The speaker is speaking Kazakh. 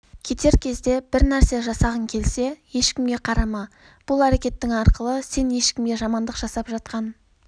кетер кезде бірнәрсе жасағың келсе ешкімге қарама бұл әрекетің арқылы сен ешкімге жамандық жасап жатқан